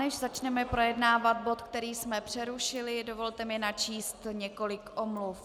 Než začneme projednávat bod, který jsme přerušili, dovolte mi načíst několik omluv.